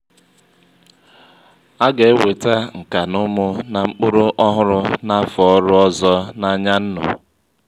um um ọwuwe ihe ubi búrú ibu um nyèrè um ha aka nwụọ ugwọ ha ji